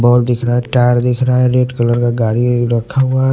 Ball दिख रहा है टायर दिख रहा है रेड कलर का गाड़ी रखा हुआ है।